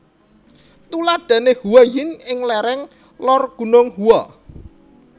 Tuladhane Huayin ing lereng Lor Gunung Hua